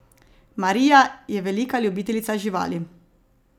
Marija je velika ljubiteljica živali.